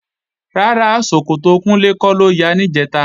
Rárá, ṣòkòtò Kúnlé kọ́ ló ya níjẹ̀ta